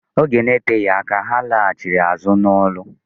Oge na-eteghi aka, ha laghachịrị azụ n'ọlụ.